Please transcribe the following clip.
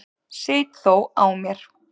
Sit þó á mér.